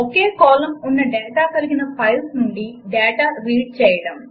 ఒకే column ఉన్న data కలిగిన files నుండి డాటా రీడ్ చేయడం 2